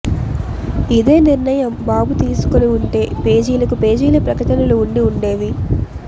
ఇదే నిర్ణయం బాబు తీసుకుని వుంటే పేజీలకు పేజీల ప్రకటనలు వుండి వుండేవి